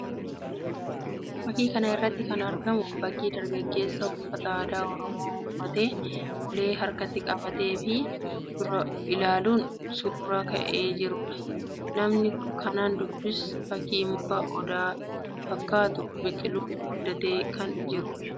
Fakkii kana irratti kan argamu fakkii dargaggeessa uffata aadaa Oromoo uffachuun ulee harkatti qabatee of dura ilaaluun suuraa ka'ee jiruu dha. Nama kanaan duubas fakkiin mukaa Odaa fakkaatu biqiluun guddatee kan jiruu dha.